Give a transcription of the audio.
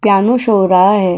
Piano show हो रहा है।